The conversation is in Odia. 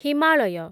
ହିମାଳୟ